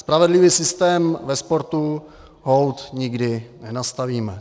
Spravedlivý systém ve sportu holt nikdy nenastavíme.